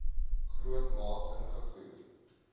groot maat ingevoer